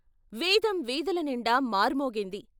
వేదం వీధుల నిండా మార్మోగింది.